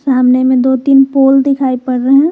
सामने में दो तीन पोल दिखाई पड़ रहे हैं।